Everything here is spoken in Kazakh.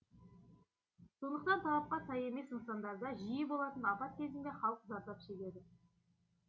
сондықтан талапқа сай емес нысандарда жиі болатын апат кезінде халық зардап шегеді